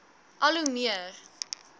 al hoe meer